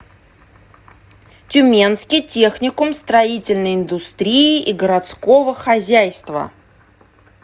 тюменский техникум строительной индустрии и городского хозяйства